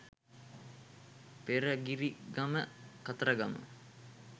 Peragirigama Kataragama.